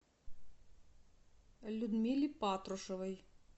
людмиле патрушевой